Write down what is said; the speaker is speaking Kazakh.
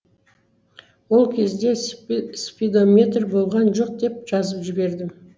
ол кезде спидометр болған жоқ деп жазып жібердім